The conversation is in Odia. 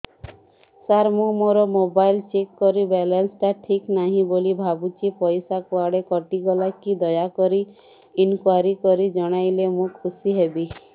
ସାର ମୁଁ ମୋର ମୋବାଇଲ ଚେକ କଲି ବାଲାନ୍ସ ଟା ଠିକ ନାହିଁ ବୋଲି ଭାବୁଛି ପଇସା କୁଆଡେ କଟି ଗଲା କି ଦୟାକରି ଇନକ୍ୱାରି କରି ଜଣାଇଲେ ମୁଁ ଖୁସି ହେବି